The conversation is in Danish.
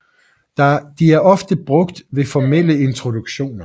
De er ofte brugt ved formelle introduktioner